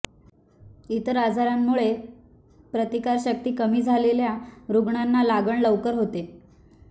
इतर आजारांमुळे प्रतिकारशक्ती कमी झालेल्या रुग्णांना लागण लवकर होते